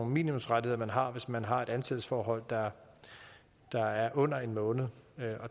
minimumsrettigheder man har hvis man har et ansættelsesforhold der er under en måned